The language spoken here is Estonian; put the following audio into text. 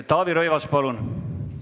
Taavi Rõivas, palun!